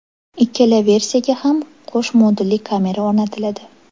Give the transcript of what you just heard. Ikkala versiyaga ham qo‘sh modulli kamera o‘rnatiladi.